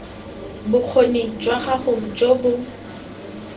bokgoni jwa gago jo bo